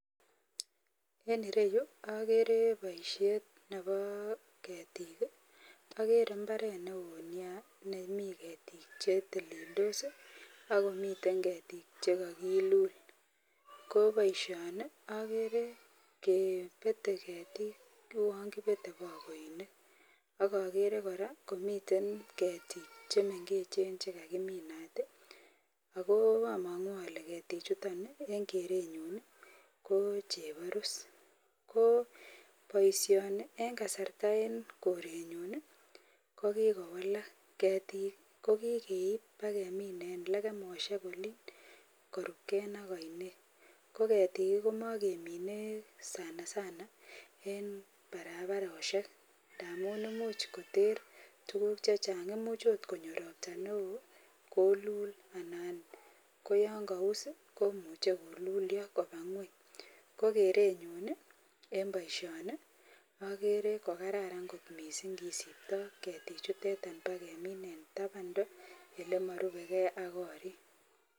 En ireyu agere baishet Nebo ketik agere imbaret neonia nemi ketik chetelendos akomiten ketit chekakilul kobaishoni agere kebete ketik ak kebete bagoinik agere kora komiten ketik chemengechen chekakiminat akoamangu Kole ketik chuton en kerenyun kochebarus KO baishoni en kasari en korenyun kokikowalak ketik kokikeib kemin en legemoshek Olin korubgei ak ainet ko getik komagemine sanasana en barabaroshek ntamun imuch koter tuguk chechang imuch konyo robta neon kolul anan koyangaus komuche kolulio Koba ngweny kokerenyun en baishoni agere kokararan kot mising kesibto ketik chuteton kemin en tabands elebarubegei ak korik